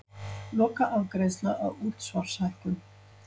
Lokaafgreiðsla á útsvarshækkun